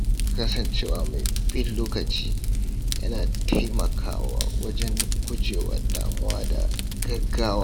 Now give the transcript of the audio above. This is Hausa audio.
Kasancewa mai bin lokaci yana taimakawa wajen gujewa damuwa da gaggawa.